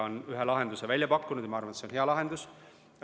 Oleme ühe lahenduse välja pakkunud ja ma arvan, et see on hea lahendus.